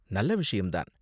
நல்ல விஷயம் தான்.